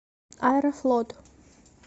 аэрофлот